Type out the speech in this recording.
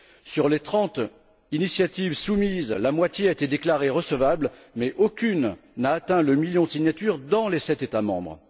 Sur les trente initiatives soumises, la moitié a été déclarée recevable mais aucune n'a atteint le million de signatures dans les sept États membres.